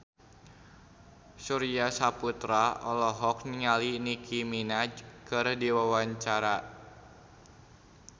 Surya Saputra olohok ningali Nicky Minaj keur diwawancara